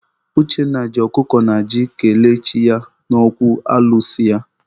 Uchenna ji ọkụkọ na ji kelee chi ya n'okwu alụsị ya.